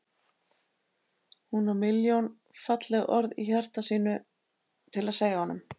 Hún á milljón falleg orð í hjarta sínu til að segja honum.